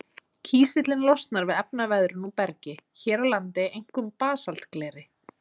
Kísillinn losnar við efnaveðrun úr bergi, hér á landi einkum basaltgleri.